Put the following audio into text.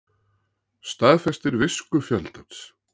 Staðfestir visku fjöldans